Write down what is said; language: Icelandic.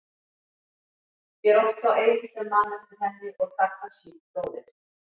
Ég er oft sá eini sem man eftir henni og Takashi bróðir.